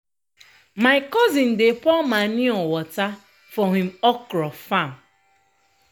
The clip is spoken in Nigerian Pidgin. my cousin dey pour manure water for him okra farm.